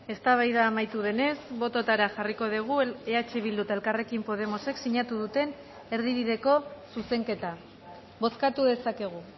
eztabaida amaitu denez bototara jarriko dugu eh bildu eta elkarrekin podemosek sinatu duten erdibideko zuzenketa bozkatu dezakegu